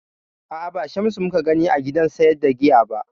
A'a, ba Shamsu mu ka gani a gidan sayar da giya ba